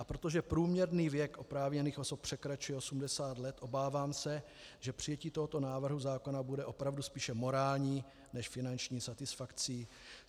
A protože průměrný věk oprávněných osob překračuje 80 let, obávám se, že přijetí tohoto návrhu zákona bude opravdu spíše morální než finanční satisfakcí.